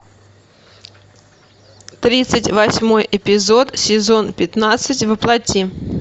тридцать восьмой эпизод сезон пятнадцать во плоти